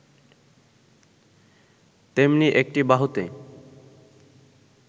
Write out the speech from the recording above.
তেমনি একটি বাহুতে